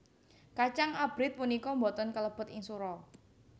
Kacang abrit punika boten kalebet ing sura